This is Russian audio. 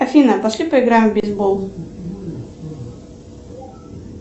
афина пошли поиграем в бейсбол